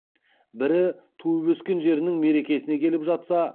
бірі туып өскен жерінің мерекесіне келіп жатса